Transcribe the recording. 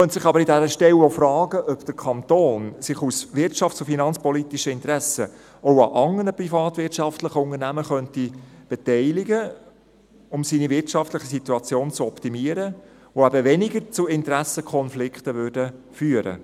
Man könnte sich aber an dieser Stelle auch fragen, ob der Kanton sich aus wirtschafts- und finanzpolitischen Interessen auch an anderen privatwirtschaftlichen Unternehmen beteiligen könnte, um seine wirtschaftliche Situation zu optimieren, die eben weniger zu Interessenkonflikten führen würden.